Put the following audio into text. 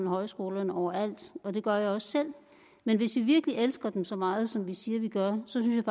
højskolerne over alt og det gør jeg også selv men hvis vi virkelig elsker dem så meget som vi siger vi gør synes